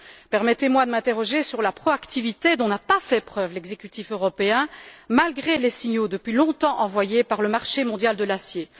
Permettez moi de m'interroger sur la proactivité dont n'a pas fait preuve l'exécutif européen malgré les signaux depuis longtemps envoyés par le marché mondial de l'acier.